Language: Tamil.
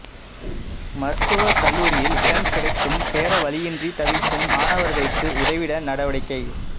மருத்துவக் கல்லூரியில் இடம் கிடைத்தும் சேர வழியின்றி தவிக்கும் மாணவா்களுக்கு உதவிட நடவடிக்கை